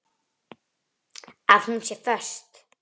Það var líka fyndið.